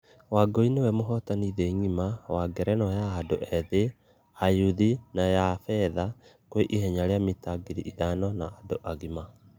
Wangui niwe muhotani thĩ ngima wa ngerenwa ya andũ ethĩ , ya ayuthi na ya fedha kwe ihenya ria mita ngiri ithano ya andũ agima....